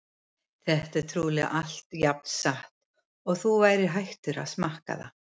Þetta er trúlega allt jafn satt og að þú værir hættur að smakkaða!